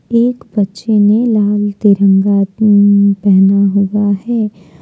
एक बच्चे ने लाल तिरंगा पहना हुआ है।